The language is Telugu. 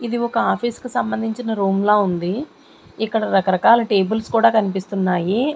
ఇది ఒక ఆఫీసు కు సంబంధించిన రూమ్ ల ఉంది ఇక్కడ రకరకాల టేబుల్స్ కూడా కన్పిస్తున్నాయి.